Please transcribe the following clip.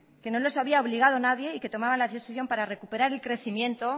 que no los había obligado nadie y que tomaba la decisión para recuperar el crecimiento